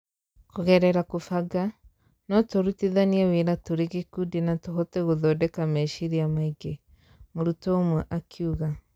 "kũgerera kũbanga, no tũrutithanie wĩra tũrĩ gĩkundi na tũhote gũthondeka meciiria maingĩ" mũrutwo ũmwe akiuga.